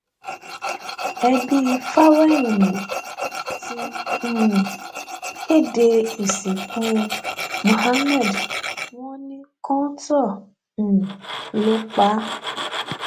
ẹbí fáwẹhìnmí ti um kéde ìsìnkú muhammed wọn ní kọńtò um ló pa á